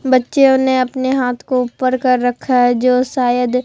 बच्चियों ने अपने हाथ को ऊपर कर रखा है जो शायद--